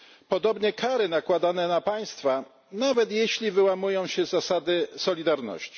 Podobnie kary nakładane na państwa nawet jeśli wyłamują się z zasady solidarności.